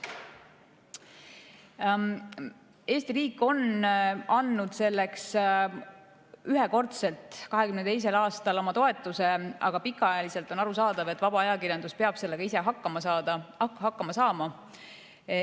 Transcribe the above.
Selleks on Eesti riik andnud ühekordselt 2022. aastal oma toetuse, aga pikaajaliselt on arusaadav, et vaba ajakirjandus peab sellega ise hakkama saama.